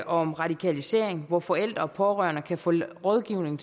om radikalisering hvor forældre og pårørende kan få rådgivning